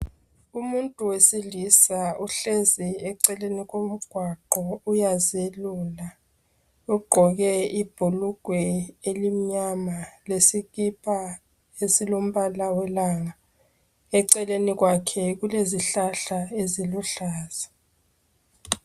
Umuntu owesilisa uhlezi eceleni komgwaqo uyazelula. Ugqoke ubhulugwe elimnyama lesikipa esilo mbala welanga. Eceleni kwakhe kulezihlahla eziluhlaza.